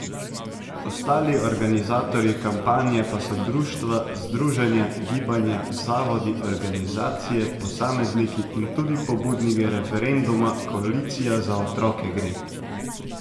Ostali organizatorji kampanje pa so društva, združenja, gibanja, zavodi, organizacije, posamezniki in tudi pobudniki referenduma Koalicija Za otroke gre.